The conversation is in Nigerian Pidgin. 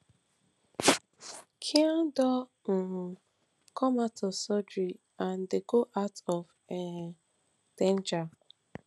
khan don um come out of surgery and dey out of um danger